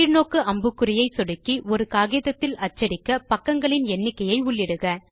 கீழ் நோக்கு அம்புக்குறியை சொடுக்கி ஒரு காகிதத்தில் அச்சடிக்க பக்கங்களின் எண்ணிக்கையை உள்ளிடுக